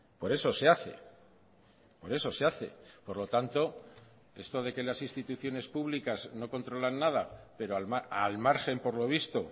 por eso se hace por eso se hace por lo tanto esto de que las instituciones públicas no controlan nada pero al margen por lo visto